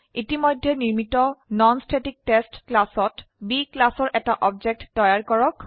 ইতিমধ্যে নিৰ্মিত ননষ্টেটিকটেষ্ট ক্লাসত B ক্লাসৰ এটা অবজেক্ট তৈয়াৰ কৰক